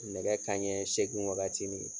Nɛgɛ kanɲɛ seegin wagati.